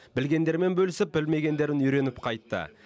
білгендерімен бөлісіп білмегендерін үйреніп қайтты